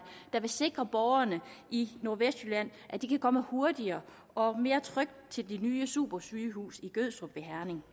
der vil sikre borgerne i nordvestjylland at de kan komme hurtigere og mere trygt til det nye supersygehus i gødstrup ved herning